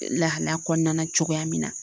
Lahalaya kɔnɔna cogoya min na